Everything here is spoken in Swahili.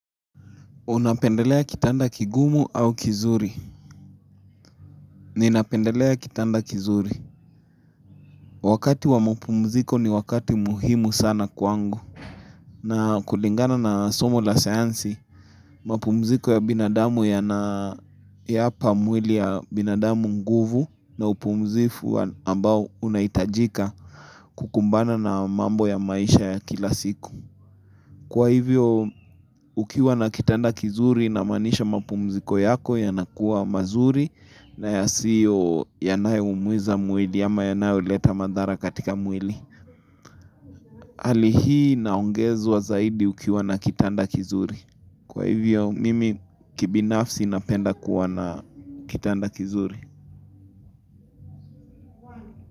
Unapendelea kitanda kigumu au kizuri? Ninapendelea kitanda kizuri. Wakati wa mapumziko ni wakati muhimu sana kwangu. Na kulingana na somo la sayansi, mapumziko ya binadamu yanayapa mwili ya binadamu nguvu na upumzifu ambao unahitajika kukumbana na mambo ya maisha ya kila siku. Kwa hivyo ukiwa na kitanda kizuri inamaanisha mapumziko yako yanakuwa mazuri na ya siyo yanayoumiza mwili ama yanayoleta madhara katika mwili. Hali hii inaongezwa zaidi ukiwa na kitanda kizuri. Kwa hivyo mimi kibinafsi napenda kuwa na kitanda kizuri.